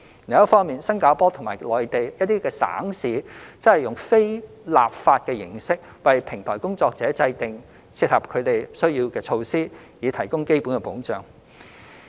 另一方面，新加坡及內地一些省市則以非立法的形式，為平台工作者制訂切合他們需要的措施，以提供基本保障。